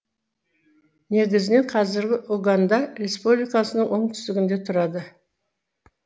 негізінен қазіргі уганда республикасының оңтүстігінде тұрады